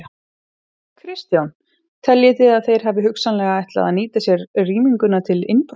Kristján: Teljið þið að þeir hafi hugsanlega ætlað að nýta sér rýminguna til innbrota?